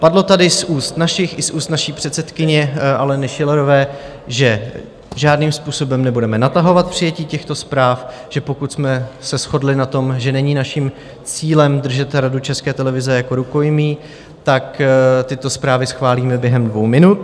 Padlo tady z úst našich i z úst naší předsedkyně Aleny Schillerové, že žádným způsobem nebudeme natahovat přijetí těchto zpráv, že pokud jsme se shodli na tom, že není naším cílem držet Radu České televize jako rukojmí, tak tyto zprávy schválíme během dvou minut.